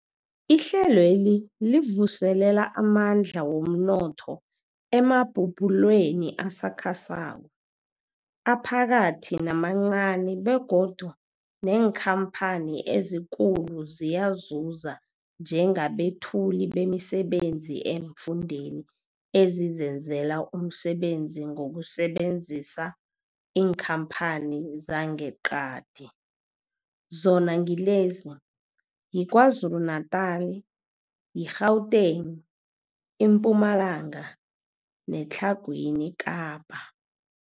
Ihlelweli livuselela amandla womnotho emabubulweni asakhasako, aphakathi namancani begodu neenkhamphani ezikulu ziyazuza njengabethuli bemisebenzi eemfundeni ezizenzela umsebenzi ngokusebenzisa iinkhamphani zangeqadi, zona ngilezi, yiKwaZulu-Natala, i-Gauteng, iMpumalanga neTlhagwini Kapa.